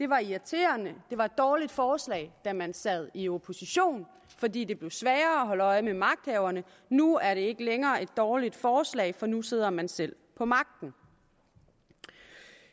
var irriterende det var et dårligt forslag da man sad i opposition fordi det blev sværere at holde øje med magthaverne nu er det ikke længere et dårligt forslag for nu sidder man selv på magten